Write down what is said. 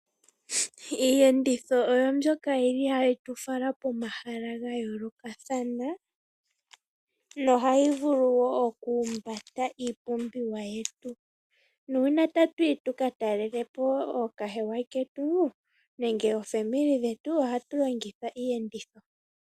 Iiyenditho oyo mbyoka yili hayi tu fala komahala ga yoolokathana nohayi vulu wo okuhumbata iipumbiwa yetu nuuna tatu yi tuka takelepo ookahewa ketu nenge aakwanezimo yetu oha tu longitha iiyenditho.